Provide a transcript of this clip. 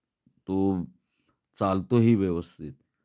तो चालतो ही व्यवस्थित.